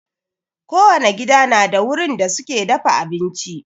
Kowane gida na da wurin da suke dafa abinci.